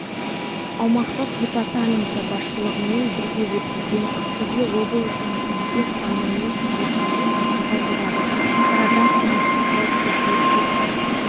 аумақтық департаменті басшылығымен бірге өткізген ақтөбе облысының жеке құрамымен кездесуін айтуға болады шарада қылмыстық жауапкершілікке